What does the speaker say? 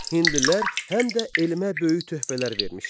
Hindlilər həm də elmə böyük töhfələr vermişlər.